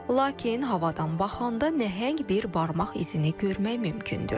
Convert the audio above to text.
Lakin havadan baxanda nəhəng bir barmaq izini görmək mümkündür.